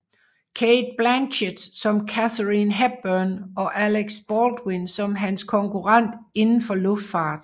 Cate Blanchett som Katharine Hepburn og Alec Baldwin som hans konkurrent indenfor luftfart